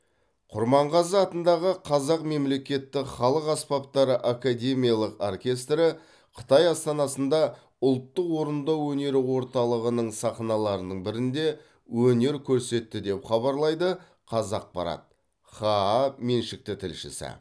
құрманғазы атындағы қазақ мемлекеттік халық аспаптары академиялық оркестрі қытай астанасында ұлттық орындау өнері орталығының сахналарының бірінде өнер көрсетті деп хабарлайды қазақпарат хаа меншікті тілшісі